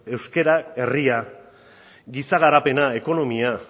euskara herria giza garapena ekonomia